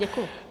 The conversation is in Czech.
Děkuji.